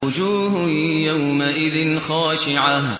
وُجُوهٌ يَوْمَئِذٍ خَاشِعَةٌ